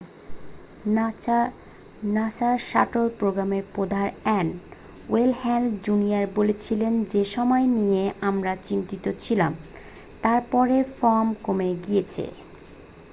"নাসার শাটল প্রোগ্রামের প্রধান এন. ওয়েন হ্যালে জুনিয়র বলেছিলেন "যে সময় নিয়ে আমরা চিন্তিত ছিলাম তার পরে" ফোম কমে গেছে।